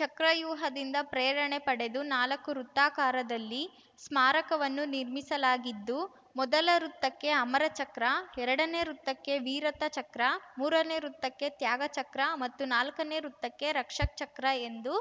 ಚಕ್ರವ್ಯೂಹದಿಂದ ಪ್ರೇರಣೆ ಪಡೆದು ನಾಲಕ್ಕು ವೃತ್ತಾಕಾರದಲ್ಲಿ ಸ್ಮಾರಕವನ್ನು ನಿರ್ಮಿಸಲಾಗಿದ್ದು ಮೊದಲ ವೃತ್ತಕ್ಕೆ ಅಮರ ಚಕ್ರ ಎರಡನೇ ವೃತ್ತಕ್ಕೆ ವೀರತಾ ಚಕ್ರ ಮೂರನೇ ವೃತ್ತಕ್ಕೆ ತ್ಯಾಗ ಚಕ್ರ ಮತ್ತು ನಾಲ್ಕನೇ ವೃತ್ತಕ್ಕೆ ರಕ್ಷಕ್‌ ಚಕ್ರ ಎಂದು